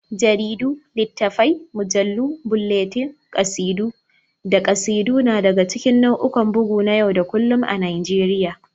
Jaridu, littafai, mujallu, bulletin, kasidu, da kasidu na daga cikin nau'ikan bugu na yau da kullun a Najeriya.